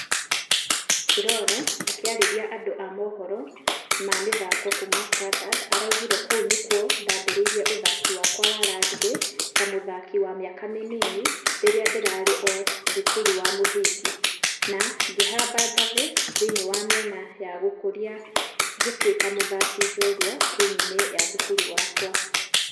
Furore akĩarĩria andũ a mũhoro ma mĩthako kuuma standard araugire kũu nĩkuo ndambereire ũthaki wakwa wa rugby ta mũthaki wa mĩaka mĩnini rĩrĩa ndĩrarĩ ũũ thukuru wa mũthingi . Na ngĩhamba ngathĩ thĩinĩ wa mĩena ya gũkũria ngĩtũĩka mũthaki njorua timũ-inĩ ya thukuru yakwa.